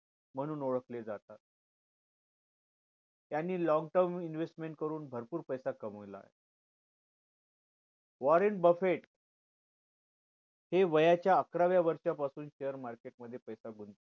म्हणून ओळखले जातात त्यांनी long term investment करून भरपूर पैसा कमावलाय वॉरंट बफेट हे वयाच्या अकराव्या वर्षा पासून share market मध्ये पैसा गुंतवतात